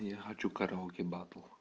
я хочу караоке батл